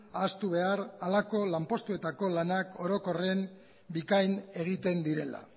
ahaztu behar halako lanpostuetako lanak orokorrean bikain egiten direla